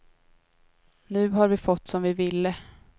Nu har vi fått som vi ville.